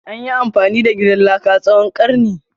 Anyi amfani da gidan laka tsawon karni.